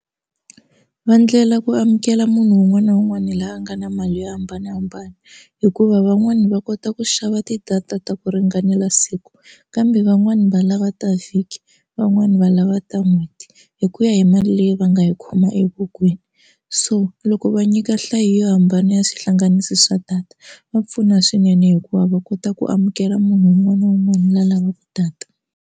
Va endlela ku amukela munhu un'wana na un'wana loyi a nga na mali yo hambanahambana hikuva van'wana va kota ku xava ti-data ta ku ringanela siku kambe van'wani va lava ta vhiki van'wani va lava ta n'hweti hi ku ya hi mali leyi va nga yi khoma evokweni so loko va nyika nhlayo yo hambana ya swihlanganisi swa data va pfuna swinene hikuva va kota ku amukela munhu un'wana na un'wana loyi a lavaka data.